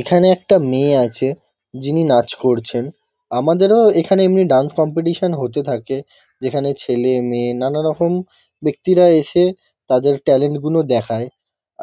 এখানে একটা মেয়ে আছে যিনি নাচ করছেন। আমাদেরও এখানে এমনি ডান্স কম্পিটিশন হতে থাকে যেখানে ছেলে মেয়ে নানারকম ব্যক্তিরা এসে তাদের ট্যালেন্ট -গুনো দেখায়।